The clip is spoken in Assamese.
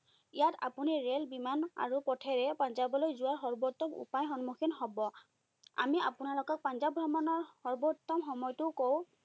ইয়াত আপুনি ৰেল, বিমান আৰু পথেৰে পাঞ্জাৱলৈ যোৱা সৰ্বোত্তম উপায়ৰ সন্মুখীন হব। আমি আপোনালোকক পাঞ্জাৱ ভ্ৰমণৰ সৰ্বোত্তম সময়টো কওঁ,